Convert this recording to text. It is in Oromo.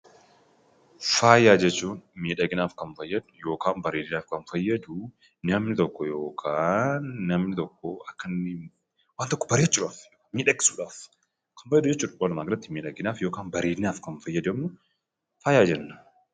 Faaya jechuun bareedinaaf kan fayyadu yookiin miidhaginaaf kan fayyadu namni tokko akka inno waan tokko bareechuudhaaf, miidhagsuuf fayydamu walumaa gala faaya jedhama.